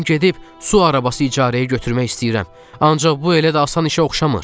Mən gedib su arabası icarəyə götürmək istəyirəm, ancaq bu elə də asan işə oxşamır.